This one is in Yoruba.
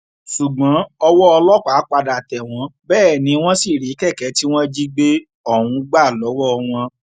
ṣùgbọn ọwọ ọlọpàá padà tẹ wọn bẹẹ ni wọn sì rí kẹkẹ tí wọn jí gbé ohùn gbà lọwọ wọn